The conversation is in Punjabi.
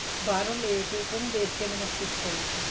ਬਾਹਰੋਂ ਲੈਕੇ ਇੱਕ ਉਹ੍ਨੁਨ੍ਦੇਖ ਕੇ ਮੈਨੇ stich ਕਰੀ ਸੀ